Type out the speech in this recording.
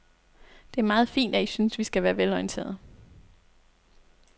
Det er meget fint, at I synes, vi skal være velorienterede.